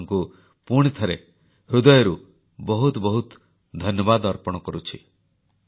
ଆପଣମାନଙ୍କୁ ପୁଣିଥରେ ହୃଦୟରୁ ବହୁତ ବହୁତ ଧନ୍ୟବାଦ ଅର୍ପଣ କରୁଛି